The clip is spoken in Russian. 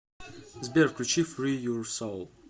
сбер включи фри юр соул